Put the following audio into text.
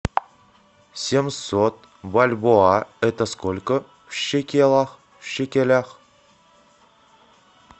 семьсот бальбоа это сколько в шекелях